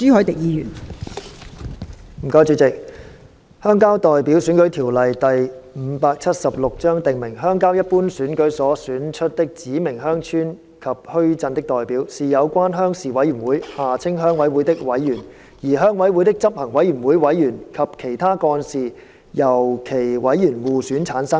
代理主席，《鄉郊代表選舉條例》訂明，鄉郊一般選舉所選出的指明鄉村及墟鎮的代表，是有關鄉事委員會的委員，而鄉委會的執行委員會委員及其他幹事由其委員互選產生。